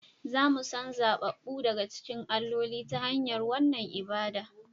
Za mu san zaɓaɓɓu daga cikin alloli, ta hanyar wannan ibada